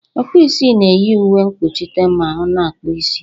Ọkpụisi na-eyi uwe nkpochite ma ọ na akpụ isi.